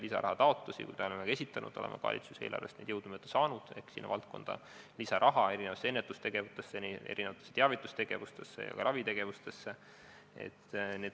Lisarahataotlusi me oleme ka esitanud, valitsuse eelarvest oleme jõudumööda raha saanud, oleme sinna valdkonda saanud lisaraha ennetustegevuste jaoks ja ka ravitegevuste jaoks.